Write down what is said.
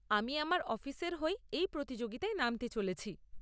আমি আমার অফিসের হয়ে এই প্রতিযোগিতায় নামতে চলেছি।